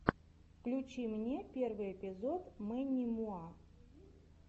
на ютьюбе би си си троллинг